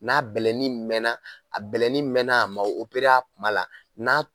N'a bɛlɛnin mɛɛnna a mɛnna a ma a kuma la n'a